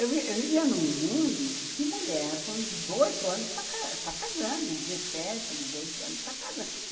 Eu eu vivia num mundo que mulher com dezoito anos está está casando, dezessete, dezoito anos está casando.